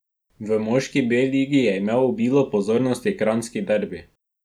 V moški B ligi je imel obilo pozornosti kranjski derbi.